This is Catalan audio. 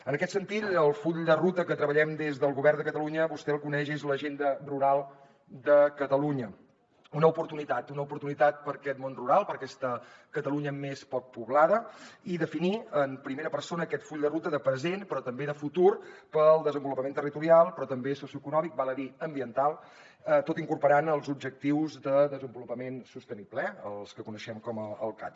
en aquest sentit el full de ruta que treballem des del govern de catalunya vostè el coneix és l’agenda rural de catalunya una oportunitat per a aquest món rural per a aquesta catalunya més poc poblada i definir en primera persona aquest full de ruta de present però també de futur per al desenvolupament territorial però també socioeconòmic ambiental tot incorporant hi els objectius de desenvolupament sostenible els que coneixem com del cads